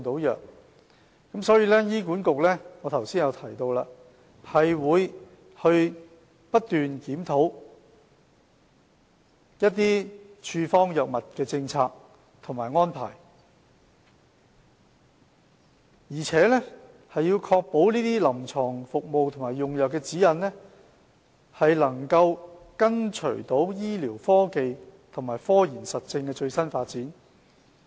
因此，正如我剛才提到，醫管局會不斷檢討處方藥物的政策及安排，並確保臨床服務和用藥指引，能緊隨醫療科技和科研實證的最新發展。